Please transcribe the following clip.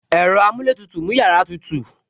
Ẹ̀rọ amuletutu mú yàrá tutù